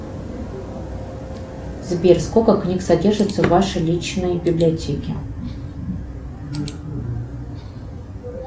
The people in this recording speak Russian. сбер сколько книг содержится в вашей личной библиотеке